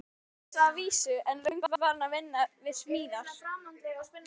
Réttindalausan að vísu, en löngu farinn að vinna við smíðar.